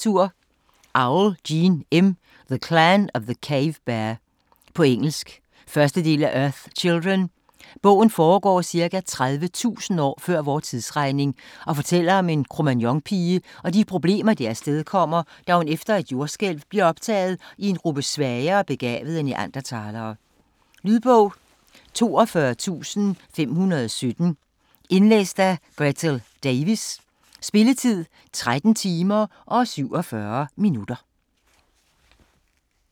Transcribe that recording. Auel, Jean M.: The clan of the cave Bear På engelsk. 1. del af Earth's children. Bogen foregår ca. 30.000 år før vor tidsregning og fortæller om en Cro-Magnon-pige og de problemer det afstedkommer, at hun efter et jordskælv bliver optaget i en gruppe svagere begavede Neanderthalere. Lydbog 42517 Indlæst af Gretel Davis Spilletid: 13 timer, 47 minutter.